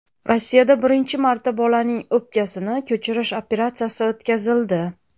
Rossiyada birinchi marta bolaning o‘pkasini ko‘chirish operatsiyasi o‘tkazildi.